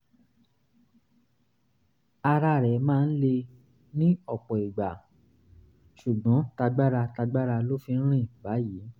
ara rẹ̀ máa ń le ní ọ̀pọ̀ ìgbà ṣùgbọ́n tagbára tagbára ló fi ń rìn báyìí